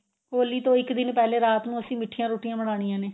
ਹੋਲੀ ਤੋਂ ਇੱਕ ਦਿਨ ਪਹਿਲੇ ਰਾਤ ਨੂੰ ਅਸੀਂ ਮਿਠੀਆਂ ਰੋਟੀਆਂ ਬਣਾਨੀਆਂ ਨੇ